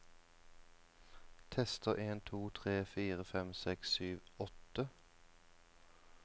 Tester en to tre fire fem seks sju åtte